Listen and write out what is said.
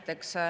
Tänan!